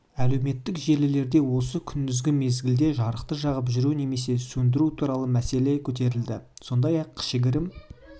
әлеуметтік желілерде осы күндізгі мезгілде жарықты жағып жүру немесе сөндіру туралы мәселе көтерілді сондай-ақ кішігірім